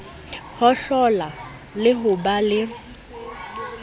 hohlola le ho ba le